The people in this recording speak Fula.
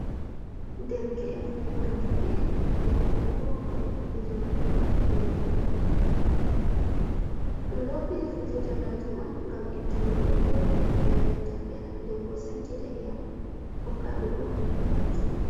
Derke’en gurdubi en, nden bo gurgu’en fijoɓe bol. be juuɗe ɗum don fija fijirde majuum on gam ittunugo ɓe gewɗum ena mettam ɓeram denbo sankita iyam hokkaɓe boo ko ɓe majjina.